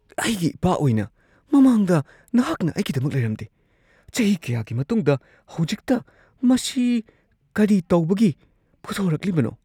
ꯑꯩꯒꯤ ꯏꯄꯥ ꯑꯣꯏꯅ, ꯃꯃꯥꯡꯗ ꯅꯍꯥꯛꯅ ꯑꯩꯒꯤꯗꯃꯛ ꯂꯩꯔꯝꯗꯦ ꯫ ꯆꯍꯤ ꯀꯌꯥꯒꯤ ꯃꯇꯨꯡꯗ ꯍꯧꯖꯤꯛꯇ ꯃꯁꯤ ꯀꯔꯤ ꯇꯧꯕꯒꯤ ꯄꯨꯊꯣꯔꯛꯂꯤꯕꯅꯣ ? (ꯃꯆꯥꯅꯨꯄꯥ)